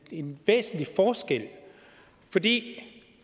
en væsentlig forskel for det